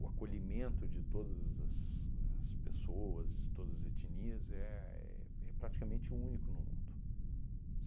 acolhimento de todas as as pessoas, de todas as etnias, éh éh é praticamente o único no mundo.